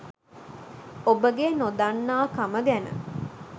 ඔබගේ නොදන්නාකම ගැන